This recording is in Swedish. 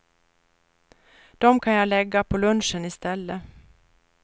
Dem kan jag lägga på lunchen i stället.